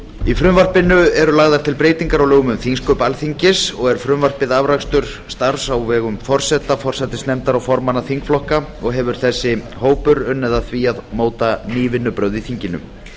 í frumvarpinu eru lagðar til breytingar á lögum um þingsköp alþingis frumvarpið er afrakstur starfs á vegum forseta forsætisnefndar og formanna þingflokka og hefur þessi hópur unnið að því að móta ný vinnubrögð í þinginu